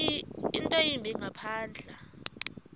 nto yimbi ngaphandle